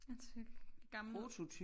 Den ser gammel ud